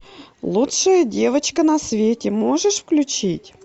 лучшая девочка на свете можешь включить